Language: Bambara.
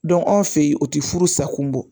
anw fɛ ye o ti furu sa kun bɔ